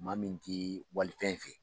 Maa min tɛ walifɛn fɛ